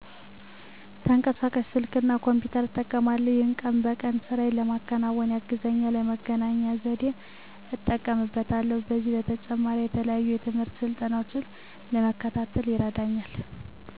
ተንቀሳቃሽ ስልክ እና ኮምፒተር እጠቀማለሁ። ይሄም ቀን በቀን ስራየን ለመከወን ያግዘኛል፣ ለመገናኛ ዘዴም እጠቀምበታለሁ። ከዚህም በተጨማሪ የተለያዩ ትምህርትና ስልጠናዎችን ለመከታተል ይረዳኛል።